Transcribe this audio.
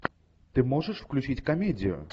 ты можешь включить комедию